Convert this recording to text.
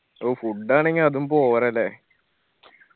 ഓ food ആണെങ്കില് അതും പോരാ ല്ലേ